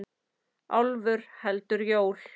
Álfur heldur jól.